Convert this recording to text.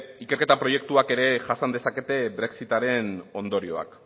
ikerketa proiektuek ere jasan dezakete brexit aren ondorioak